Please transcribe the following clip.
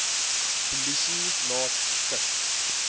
polisie laat tik